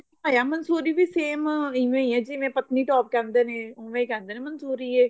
ਦੇਖਿਆ ਮੰਸੂਰੀ same ਉਵੇਂ ਆ ਜਿਵੇਂ ਪਤਨੀ top ਕਹਿੰਦੇ ਨੇ ਉਵੇਂ ਕਹਿੰਦੇ ਨੇ ਮੰਸੂਰੀ ਏ